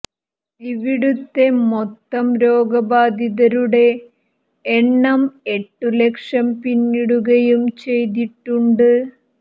ഇവിടുത്തെ മൊത്തം രോഗബാധിതരുടെ എണ്ണം എട്ട് ലക്ഷം പിന്നിടുകയും ചെയ്തിട്ടുണ്ട്